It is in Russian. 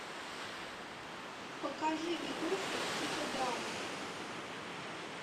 покажи видосик типа драмы